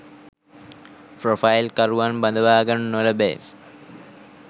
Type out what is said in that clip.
Profile කරුවන් බදවා ගනු නොලැබේ.